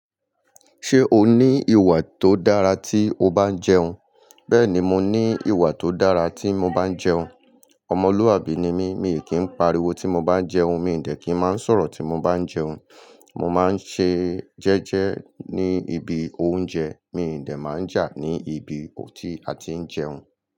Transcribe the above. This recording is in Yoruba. Ṣé o ní ìwà tó dára tí o bá ń jẹun? Bẹ́ẹ̀ni, mo ní ìwà tó dára tí mo bá ń jẹun. Ọmọlúàbí ni mí, mi ò kí ń pariwo tí mo bá ń jẹun, mi ò ní dẹ́ kí ń má ń sọ̀rọ̀ tí mo bá ń jẹun, mo má ń ṣe jẹ́jẹ́ ní ibi oúnjẹ, mi ò ní dẹ má ń jà ní ibi tó ti a ti ń jẹun.